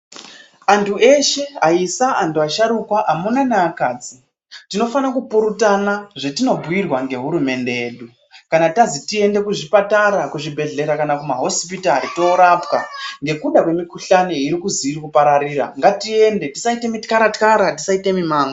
Antu eshe aisa antu asharukwa, amunawe neakadzi tinofana kupurutana zvatinobhiirwa ngehurumende yedu kana tazitiende kuzvipatara, kuzvibhedhlera kana kumahosipitari toorapwa nekuda kwemikhuhlani irikuzi irikupararira ngatiende tisaite mityara tyara tisaite mimango.